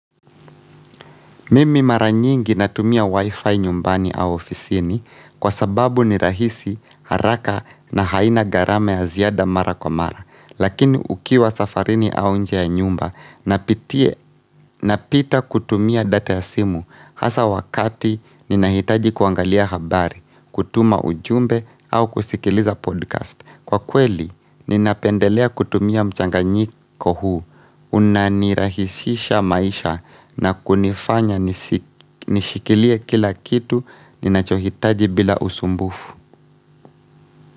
Mimi mara nyingi natumia wifi nyumbani au ofisini kwa sababu ni rahisi haraka na haina garame ya ziada mara kwa mara. Lakini ukiwa safarini au nje ya nyumba napita kutumia data ya simu hasa wakati nina hitaji kuangalia habari, kutuma ujumbe au kusikiliza podcast. Kwa kweli, ninapendelea kutumia mchanganyiko huu, unanirahisisha maisha na kunifanya nishikilie kila kitu, ninachohitaji bila usumbufu.